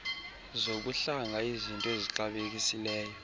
zobuhlanga iiznto ezixabisekileyo